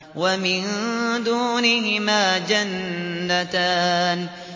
وَمِن دُونِهِمَا جَنَّتَانِ